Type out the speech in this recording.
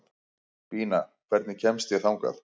Bína, hvernig kemst ég þangað?